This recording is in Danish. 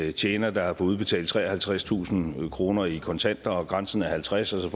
en tjener der har fået udbetalt treoghalvtredstusind kroner i kontanter og grænsen er halvtredstusind